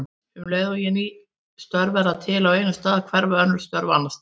Um leið og ný störf verða til á einum stað hverfa önnur störf annars staðar.